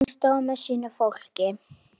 Hann stóð með sínu fólki.